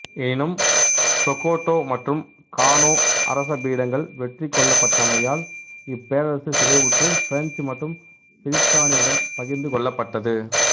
எனினும் சொகோட்டோ மற்றும் கானோ அரச பீடங்கள் வெற்றி கொள்ளப்பட்டமையால் இப்பேரரசு சிதைவுற்று பிரெஞ்சு மற்றும் பிரித்தானியரிடம் பகிர்ந்து கொள்ளப்பட்டது